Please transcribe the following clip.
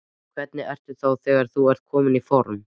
Hvernig ertu þá þegar þú ert kominn í form?